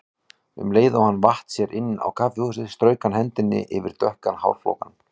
Um leið og hann vatt sér inn á kaffihúsið strauk hann hendinni yfir dökkan hárflókann.